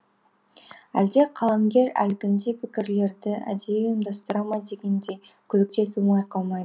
әлде қаламгер әлгіндей пікірлерді әдейі ұйымдастыра ма дегендей күдік те тумай қалмайды